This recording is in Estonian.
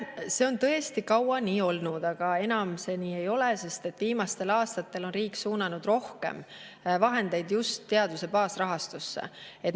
See on tõesti kaua nii olnud, aga enam see nii ei ole, sest viimastel aastatel on riik suunanud rohkem vahendeid just teaduse baasrahastusse.